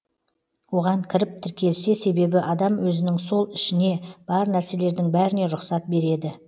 оған кіріп тіркелсе себебі адам өзінің сол ішіне бар нәрселердің бәріне рұқсат береді